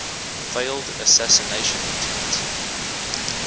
failed assassination attempt